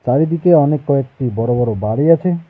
চারিদিকে অনেক কয়েকটি বড়ো বড়ো বাড়ি আছে।